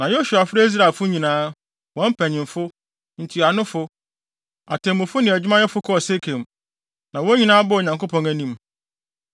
Na Yosua frɛɛ Israelfo nyinaa, wɔn mpanyimfo, ntuanofo, atemmufo ne adwumayɛfo kɔɔ Sekem. Na wɔn nyinaa baa Onyankopɔn anim.